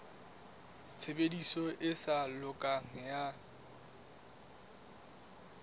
tshebediso e sa lokang ya